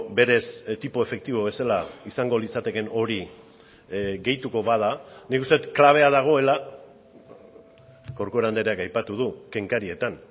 berez tipo efektibo bezala izango litzatekeen hori gehituko bada nik uste dut klabea dagoela corcuera andreak aipatu du kenkarietan